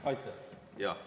Aitäh!